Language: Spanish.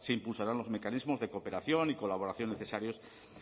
se impulsarán los mecanismos de cooperación y colaboración necesarios